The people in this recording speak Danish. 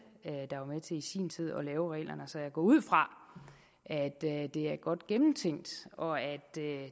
der var med til i sin tid at lave reglerne så jeg går ud fra at det det er godt gennemtænkt og at